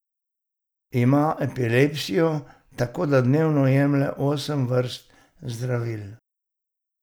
Ima epilepsijo, tako da dnevno jemlje osem vrst zdravil.